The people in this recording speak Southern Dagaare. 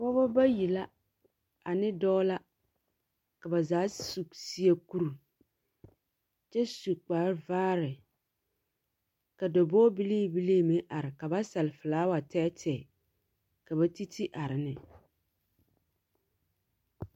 Pɔgeba bayi la ane dɔɔ la. Ka bazaa sss su seɛ kur… kyɛsu kpare vaare. Ka dabɔge bilii bilii meŋ are ka basɛle felaawa tɛɛtɛɛ ka batiti are ne.